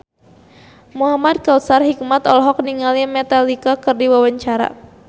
Muhamad Kautsar Hikmat olohok ningali Metallica keur diwawancara